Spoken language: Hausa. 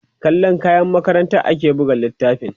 kallan kayan makarantar ake buga littafin